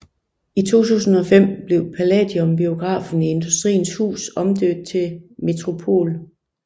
I 2005 blev Palladium biografen i Industriens Hus omdøbt til Metropol